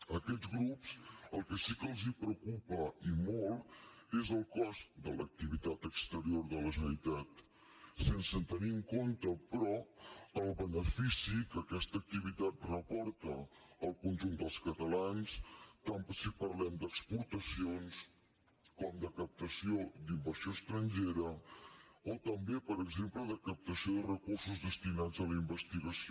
a aquests grups el que sí que els preocupa i molt és el cost de l’activitat exterior de la generalitat sense tenir en compte però el benefici que aquesta activitat repor·ta al conjunt dels catalans tant si parlem d’exporta·cions com de captació d’inversió estrangera o també per exemple de captació de recursos destinats a la in·vestigació